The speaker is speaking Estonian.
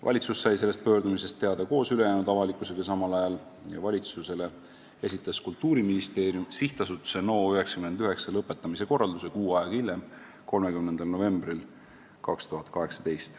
Valitsus sai sellest pöördumisest teada koos ülejäänud avalikkusega samal ajal ja valitsusele esitas Kultuuriministeerium SA Teater NO99 lõpetamise korralduse kuu aega hiljem, 30. novembril 2018.